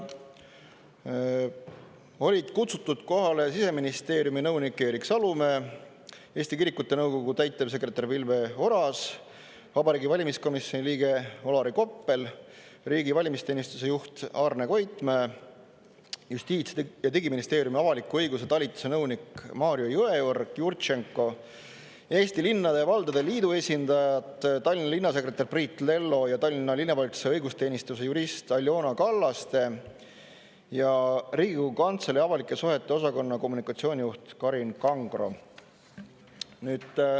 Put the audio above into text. Olid kutsutud kohale Siseministeeriumi nõunik Erik Salumäe, Eesti Kirikute Nõukogu täitevsekretär Vilver Oras, Vabariigi Valimiskomisjoni liige Olari Koppel, riigi valimisteenistuse juht Arne Koitmäe, Justiits- ja Digiministeeriumi avaliku õiguse talituse nõunik Mariko Jõeorg-Jurtšenko, Eesti Linnade ja Valdade Liidu esindajad, Tallinna linnasekretär Priit Lello ja Tallinna Linnavalitsuse õigusteenistuse jurist Aljona Kallaste ja Riigikogu Kantselei avalike suhete osakonna kommunikatsioonijuht Karin Kangro.